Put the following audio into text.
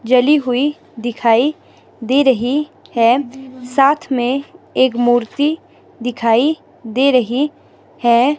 जली हुई दिखाई दे रही है साथ में एक मूर्ति दिखाई दे रही है।